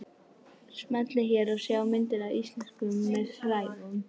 Smellið hér til að sjá myndir af Íslendingum með frægum